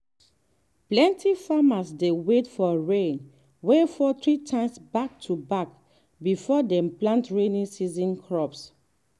plenty farmers dey wait for rain wey fall three times back to back before dem plant rainy season crops.